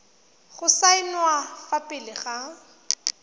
go saenwa fa pele ga